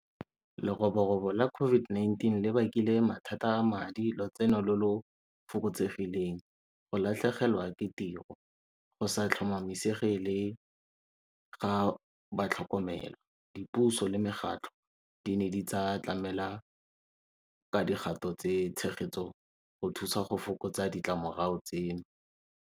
Leroborobo la COVID-19 le bakile mathata a madi, lotseno lo lo fokotsegileng, go latlhegelwa ke tiro, go sa tlhomamisege le ga batlhokomelo. Dipuso le megatlho di ne di tsa tlamela ka digato tse tshegetso go thusa go fokotsa ditlamorago tseno.